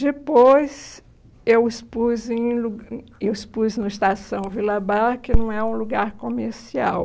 Depois, eu expus em lu hum eu expus no Estação Vila Bar, que não é um lugar comercial.